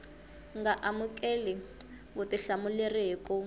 nga amukeli vutihlamuleri hi ku